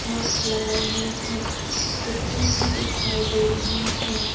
Box लगाए हुए हैं स्कूटरी भी दिखाई दे रहे हैं।